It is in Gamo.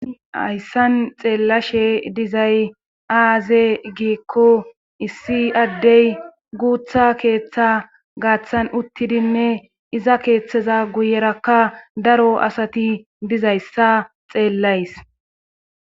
Hayssan xeellashe dizay aaze giikko issi addey guutha keeththa gaaththan uttidinne iza keeththeza guyerakka daro asati dizayssa xeellays.